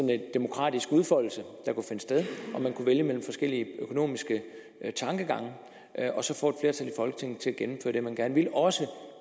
lidt demokratisk udfoldelse sted og man kunne vælge mellem forskellige økonomiske tankegange og så få et flertal i folketinget til at gennemføre det man gerne ville også